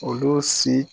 Olu si